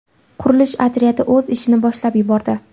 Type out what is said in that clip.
Qurilish otryadi o‘z ishini boshlab yubordi.